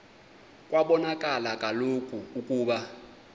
kwabonakala kaloku ukuba